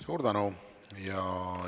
Suur tänu!